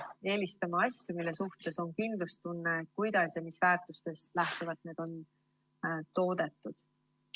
Peab eelistama asju, mille suhtes on kindlustunne, kuidas ja mis väärtustest lähtuvalt need on toodetud.